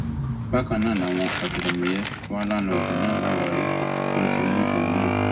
bákan náà làwọn ọtẹlẹmúyẹ wà láńlọọdù náà láwàárí wọn ti mú òun náà